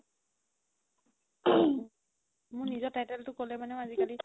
throat মোৰ নিজৰ title তো ক'লে মানে আজিকালি